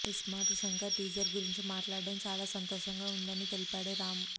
iSmart Shankar teaser గురించి మాట్లాడడం చాల సంతోషంగా ఉందని తెలిపాడు రామ్